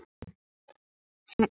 Hendur og lim.